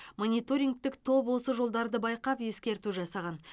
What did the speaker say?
мониторингтік топ осы жолдарды байқап ескерту жасаған